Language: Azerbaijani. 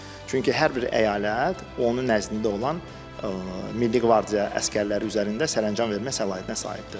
Çünki hər bir əyalət onun nəzdində olan Milli Qvardiya əsgərləri üzərində sərəncam vermə səlahiyyətinə sahibdir.